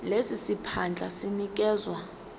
lesi siphandla sinikezwa